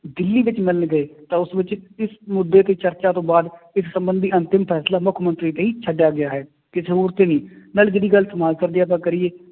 ਦਿੱਲੀ ਵਿੱਚ ਮਿਲਣ ਗਏ ਤਾਂ ਉਸ ਵਿੱਚ ਇਸ ਮੁੱਦੇ ਤੇ ਚਰਚਾ ਤੋਂ ਬਾਅਦ ਇਸ ਸੰਬੰਧੀ ਅੰਤਿਮ ਫੈਸਲਾ ਮੁੱਖ ਮੰਤਰੀ ਲਈ ਛੱਡਿਆ ਗਿਆ ਹੈ, ਕਿਸੇ ਹੋਰ ਤੇ ਨਹੀਂ ਨਾਲੇ ਜਿਹੜੀ ਗੱਲ ਜੇ ਆਪਾਂ ਕਰੀਏ